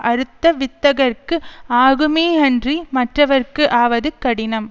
அறுத்த வித்தகர்க்கு ஆகுமே அன்றி மற்றவர்க்கு ஆவது கடினம்